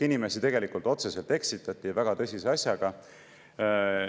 Inimesi tegelikult otseselt eksitati, ja väga tõsise asjaga.